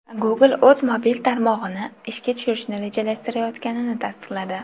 Google o‘z mobil tarmog‘ini ishga tushirishni rejalashtirayotganini tasdiqladi.